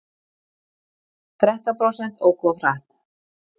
Þrettán prósent óku of hratt